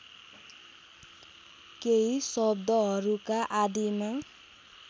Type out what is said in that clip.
केही शब्दहरूका आदिमा